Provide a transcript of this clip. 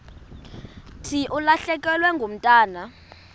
thi ulahlekelwe ngumntwana